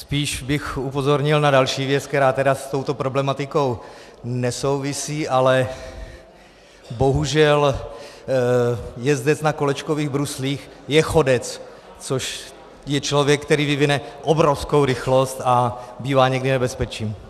Spíš bych upozornil na další věc, která tedy s touto problematikou nesouvisí, ale bohužel jezdec na kolečkových bruslích je chodec, což je člověk, který vyvine obrovskou rychlost a bývá někdy nebezpečím.